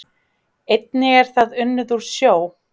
Einnig er það unnið úr sjó